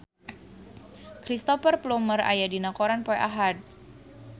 Cristhoper Plumer aya dina koran poe Ahad